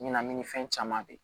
Ɲinan ni fɛn caman de